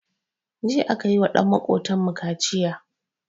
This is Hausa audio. Jiya akayiwa ɗan makotan mu kaciya